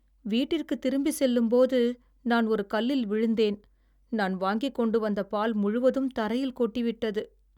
வீட்டிற்குத் திரும்பி செல்லும்போது, நான் ஒரு கல்லில் விழுந்தேன், நான் வாங்கிக்கொண்டு வந்த பால் முழுவதும் தரையில் கொட்டி விட்டது.